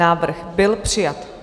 Návrh byl přijat.